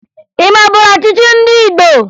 Ị maburu ọchịchị ndị Igbo?